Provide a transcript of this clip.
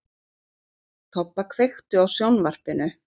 Tobba, kveiktu á sjónvarpinu.